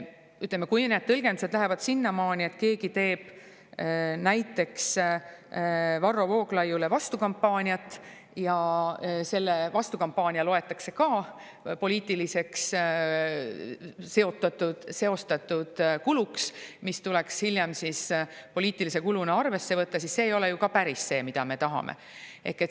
Ütleme, kui need tõlgendused lähevad sinnamaani, et keegi teeb näiteks Varro Vooglaiule vastukampaaniat ja see vastukampaania loetakse ka poliitiliseks seostatud kuluks, mis tuleks hiljem poliitilise kuluna arvesse võtta, siis see ei ole ju ka päris see, mida me tahame.